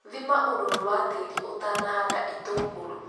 Thima ũrũrũ wa tĩri ũtanahanda itũngũrũ .